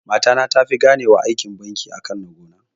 Mata ta tafi gane wa aikin banki akan na gona